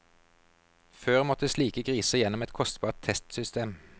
Før måtte slike griser gjennom et kostbart testsystem.